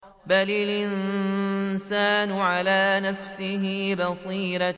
بَلِ الْإِنسَانُ عَلَىٰ نَفْسِهِ بَصِيرَةٌ